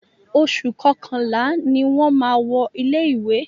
Oṣù kọkànlá ni a máa wọlé ilé ìwé.